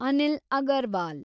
Anil Agarwal